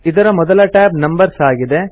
ಇದರ ಮೊದಲ tab numbers ಆಗಿದೆ